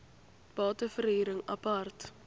bate verhuring apart